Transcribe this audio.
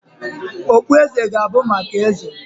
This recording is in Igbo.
Okpueze ga-abụ maka Eze